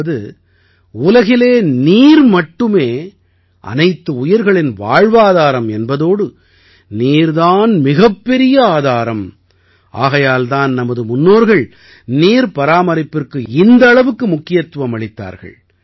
அதாவது உலகிலே நீர் மட்டுமே அனைத்து உயிர்களின் வாழ்வாதாரம் என்பதோடு நீர் தான் மிகப்பெரிய ஆதாரம் ஆகையால் தான் நமது முன்னோர்கள் நீர் பராமரிப்பிற்கு இந்த அளவுக்கு முக்கியத்துவம் அளித்தார்கள்